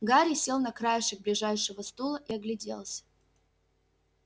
гарри сел на краешек ближайшего стула и огляделся